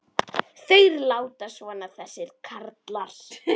Þeir láta svona þessir karlar.